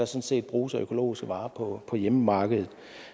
set bruges af økologiske varer på hjemmemarkedet